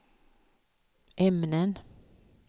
ämnen